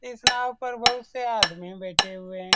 इस नाव पर बहुत से आदमी बैठे हुए है।